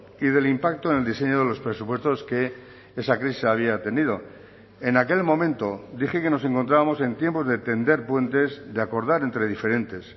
y del impacto en el diseño de los presupuestos que esa crisis había tenido en aquel momento dije que nos encontrábamos en tiempos de tender puentes de acordar entre diferentes